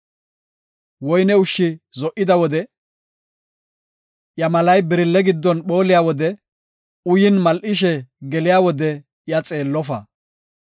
Woyne ushshi zo7ida wode, iya malay birille giddon phooliya wode, uyin mal7ishe geliya wode iya xeellofa.